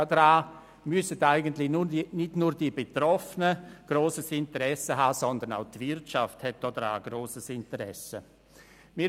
Daran müssten eigentlich nicht nur die Betroffenen, sondern auch die Wirtschaft grosses Interesse haben.